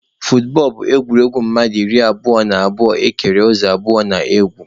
Futbọọlụ bụ egwuregwu mmadụ iri abụo na abụo ekere ụzọ abụọ na-egwu.